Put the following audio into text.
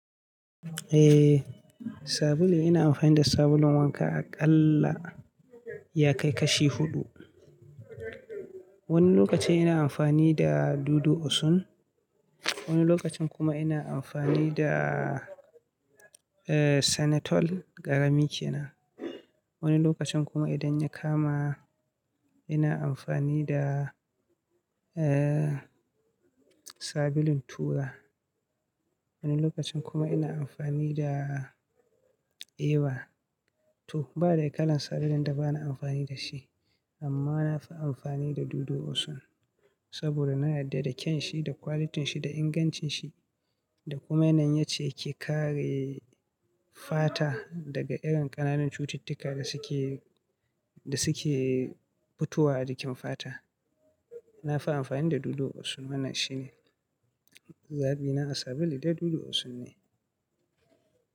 Eh, sabulu ina amfani da sabulun wanka a ƙalla ya kai kashi huɗu. Wani lokaci ina amfani da Dudu Osun, wani lokacin kuma ina amfani da, eh, Sanytol ƙarami kenan. Wani lokacin kuma idan ya kama ina amfani da, eh, sabulun tura. Wani lokacin kuma ina amfani da Eva. To ba dai kalar sabulun da ba na amfani da shi amma na fi amfani da Dudu Osun saboda na yarda da kyan shi da quality shi da ingancin shi da kuma yanayin yacce yake kare fata daga irin ƙananan cututtuka da suke, da suke fitowa a jikin fata. Na fi amfani da Dudu Osun, wannan shine zabi na a sabulu dai Dudu Osun ne.